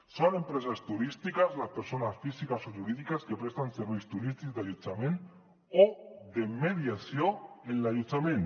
són empreses turístiques les persones físiques o jurídiques que presten serveis turístics d’allotjament o de mediació en l’allotjament